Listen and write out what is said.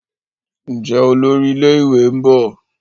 Njé Olórí ilé ìwé nbọ?